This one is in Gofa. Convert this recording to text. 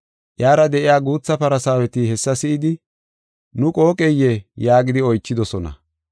Iyara de7iya guutha Farsaaweti hessa si7idi, “Nu qooqeyee?” yaagidi oychidosona.